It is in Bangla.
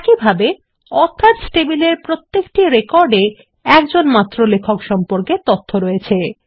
একইভাবে অথর্স টেবিলের প্রত্যেকটি রেকর্ডে মাত্র একজন লেখক সম্পর্কে তথ্য রয়েছে